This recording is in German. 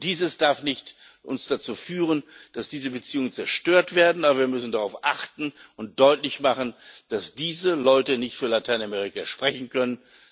Dies darf uns nicht dazu führen, dass diese Beziehungen zerstört werden, aber wir müssen darauf achten und deutlich machen, dass diese Leute nicht für Lateinamerika sprechen können.